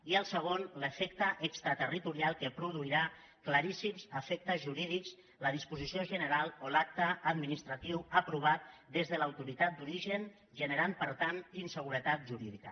i el segon l’efecte extraterritorial que produirà claríssims efectes jurídics la disposició general o l’acte administratiu aprovat des de l’autoritat d’origen i generarà per tant inseguretat jurídica